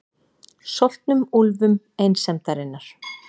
Soltnum úlfum einsemdarinnar.